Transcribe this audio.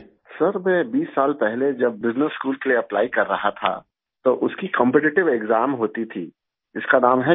sir जब मैं बीस साल पहले जब बिजनेस स्कूल के लिए एप्ली कर रहा था तो उसकी कॉम्पिटिटिव एक्साम होती थी जिसका नाम है CAT